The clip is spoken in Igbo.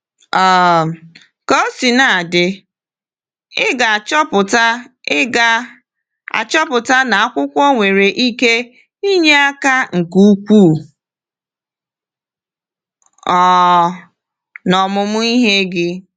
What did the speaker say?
um Ka o sina dị, ị ga-achọpụta ị ga-achọpụta na akwụkwọ nwere ike inye aka nke ukwuu um n’omụmụ ihe gị.